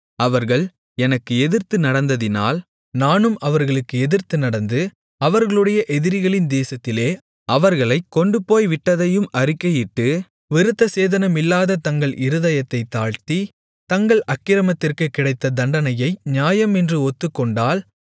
அவர்கள் எனக்கு எதிர்த்து நடந்ததினால் நானும் அவர்களுக்கு எதிர்த்து நடந்து அவர்களுடைய எதிரிகளின் தேசத்திலே அவர்களைக் கொண்டுபோய் விட்டதையும் அறிக்கையிட்டு விருத்தசேதனமில்லாத தங்கள் இருதயத்தைத் தாழ்த்தி தங்கள் அக்கிரமத்திற்குக் கிடைத்த தண்டனையை நியாயம் என்று ஒத்துக்கொண்டால்